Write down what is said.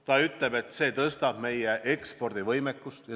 Ta ütleb, et see parandab meie ekspordivõimekust.